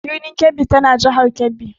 Birnin Kebbi tana jihar Kebbi.